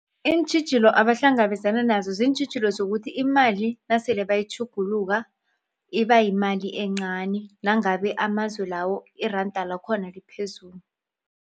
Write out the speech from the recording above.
Iintjhijilo abahlangabezana nazo ziintjhijilo zokuthi imali nasele bayitjhuguluka ibayimali encani nangabe amazwe lawo iranda lakhona liphezulu.